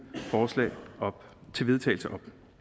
forslag til vedtagelse